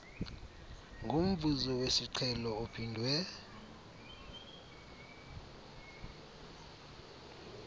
ngomvuzo wesiqhelo ophindwe